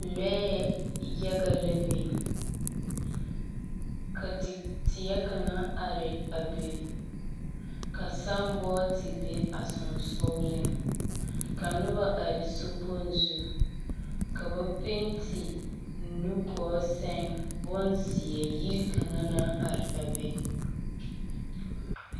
lɔɛɛ yaga la biŋ. Ka te teɛ kaŋ are a be. Ka sããbɔɔte be sansɔgleŋ, ka noba are sokpoŋ zu, ka ba pente nugɔɔ seŋ bonzeɛ yiri kaŋa naŋ are a be.